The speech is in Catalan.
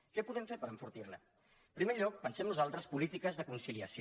què podem fer per enfortir la en primer lloc pensem nosaltres polítiques de conciliació